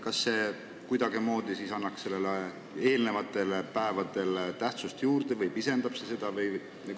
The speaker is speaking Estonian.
Kas see kuidagimoodi annaks nendele päevadele tähtsust juurde või pisendab neid?